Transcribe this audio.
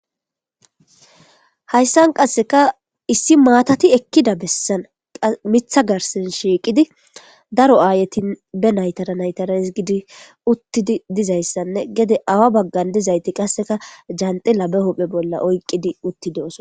Haysan Qaseka issi matati Ekida Besan Mitha garden Shiqidi Daro Ayeti Be naytarnaytara hisgidi utidi Dizaysane Gede Awa bagan dizayti Qaseka jantila be huphen Bolla Oykidi utidosona